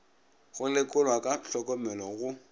go lekolwa ka hlokomelo go